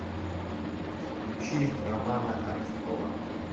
включи романа архипова